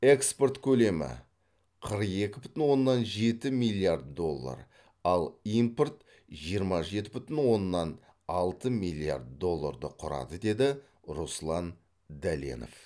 экспорт көлемі қырық екі бүтін оннан жеті миллиард доллар ал импорт жиырма жеті бүтін оннан алты миллиард долларды құрады деді руслан дәленов